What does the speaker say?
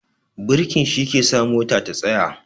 Birki shi ke sa mota ta tsaya